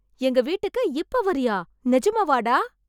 எங்க வீட்டுக்கு இப்ப வரியா, நிஜமாவா டா?